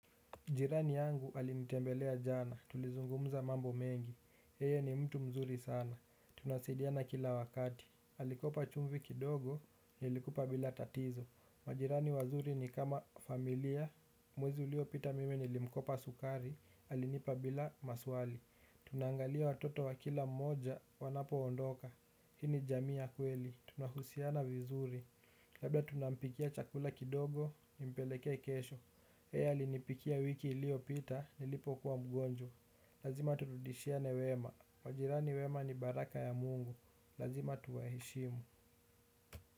Jirani yangu alinitembelea jana, tulizungumuza mambo mengi, yeye ni mtu mzuri sana, tunasidiana kila wakati, alikopa chumvi kidogo, nilikupa bila tatizo majirani wazuri ni kama familia, mwezi uliopita mimi nilimkopa sukari, alinipa bila maswali tunaangalia watoto wa kila mmoja, wanapo ondoka, hii jamii ya kweli, tunahusiana vizuri. Labda tunampikia chakula kidogo, nimpelekee kesho. Yeye alinipikia wiki iliyopita, nilipo kuwa mgonjwa. Lazima turudishiane wema. Majirani wema ni baraka ya Mungu. Lazima tuwaheshimu.